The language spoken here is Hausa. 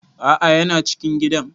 A'a yana cikin gidan